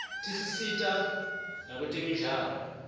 tisisita nakwetemidlalo